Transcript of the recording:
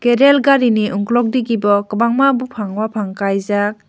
aii rail gari ni ukulog digi bo kwbangma bufang kaijak.